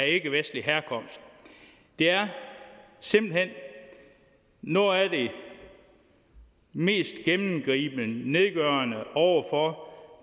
ikkevestlig herkomst det er simpelt hen noget af det mest gennemgribende og nedgørende over for